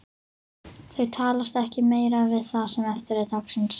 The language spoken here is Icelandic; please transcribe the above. Þau talast ekki meira við það sem eftir er dagsins.